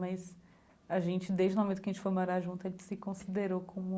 Mas a gente, desde o momento em que a gente foi morar junto, a gente se considerou como